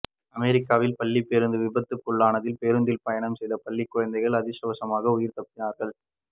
அமெரிக்காவில் பள்ளி பேருந்து விபத்துக்குள்ளானதில் பேருந்தில் பயணம் செயத பள்ளி குழந்தைகள் அதிர்ஷ்டவசமாக உயிர் தப்பினார்கள்